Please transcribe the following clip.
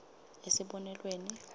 esibonelweni